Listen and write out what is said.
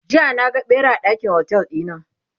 jiya na ga ɓera a ɗakin otel ɗina